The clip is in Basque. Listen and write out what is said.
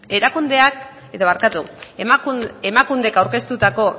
emakundek aurkeztutako